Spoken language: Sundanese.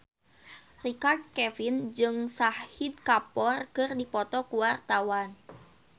Richard Kevin jeung Shahid Kapoor keur dipoto ku wartawan